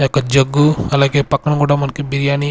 ఈ యొక్క జగ్గు అలాగే పక్కన కూడా మనకు బిర్యానీ.